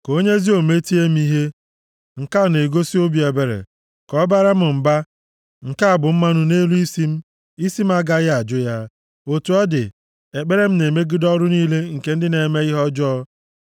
Ka onye ezi omume tie m ihe, nke a na-egosi obi ebere; ka ọ baara m mba, nke a bụ mmanụ nʼelu isi m. Isi m agaghị ajụ ya. Otu ọ dị, ekpere m na-emegide ọrụ niile nke ndị na-eme ihe ọjọọ.